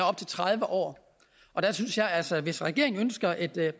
op til tredive år jeg synes altså at hvis regeringen ønsker et